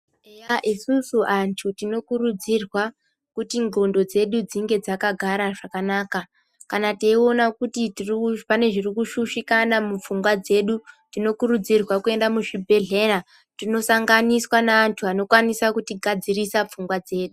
Eya isusu antu tinokurudzirwa kuti ndxondo dzedu dzinge dzakagara zvakanaka. Kana taiona kuti pane zvirikushushikana mupfungwa dzedu tinokurudzirwa kuenda muzvibhedhleya tinosanganiswa neantu anokwanisa kuti gadzirisa pfungwa dzedu.